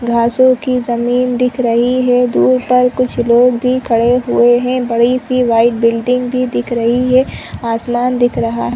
घासो की जमीन दिख रही है दूर पर कुछ लोग भी खड़े हुए है बड़ी सी वाइट बिल्डिंग भी दिख रही है आसमान दिख रहा--